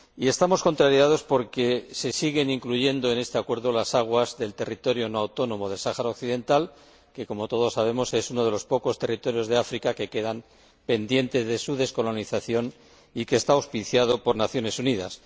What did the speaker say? Estamos contrariados porque se siguen incluyendo en este Acuerdo las aguas del territorio no autónomo del Sáhara Occidental que, como todos sabemos, es uno de los pocos territorios de África que quedan pendientes de descolonización y que está auspiciado por las Naciones Unidas.